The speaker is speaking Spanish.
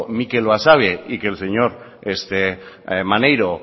mikel basabe y que el señor maneiro